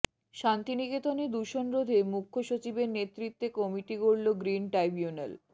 শান্তিনিকেতনে দূষণ রোধে মুখ্যসচিবের নেতৃত্বে কমিটি গড়ল গ্রিন ট্রাইব্যুনাল